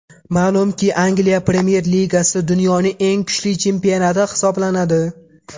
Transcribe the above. Ma’lumki, Angliya Premyer Ligasi dunyoning eng kuchli chempionati hisoblanadi.